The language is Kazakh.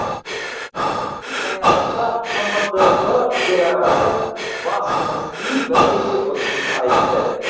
форум аясында қмдб төрағасы бас мүфти бірнеше ұсыныс айтты